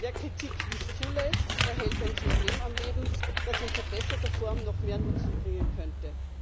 Wer Kritik nicht zulässt, erhält ein System am Leben, das in verbesserter Form noch mehr Nutzen bringen könnte.